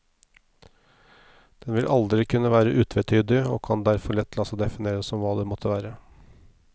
Den vil aldri kunne være utvetydig og kan derfor lett la seg definere som hva det måtte være.